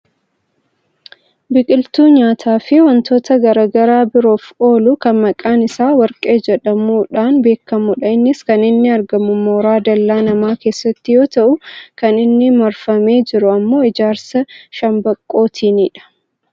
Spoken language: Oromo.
Biqiltuu nyaataa fi wantoota gara garaa biroof oolu kan maqaan isaa warqee jedhamuun beekkamudha. Innis kan inni argamu mooraa dallaa namaa keessatti yoo ta'u kan inni marfamee jiru ammoo ijaarsa shambaqqootiinidha.